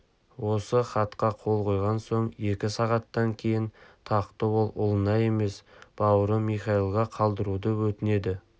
осы хатқа қол қойған соң екі сағаттан кейін тақты ол ұлына емес бауыры михаилға қалдыруды өтінеді